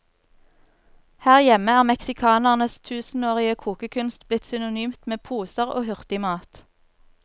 Her hjemme er meksikanernes tusenårige kokekunst blitt synonymt med poser og hurtigmat.